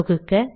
தொகுக்க